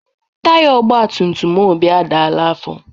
Taiya ogbatumtum Obi adala afọ.